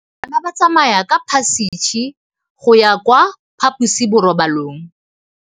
Bana ba tsamaya ka phašitshe go ya kwa phaposiborobalong.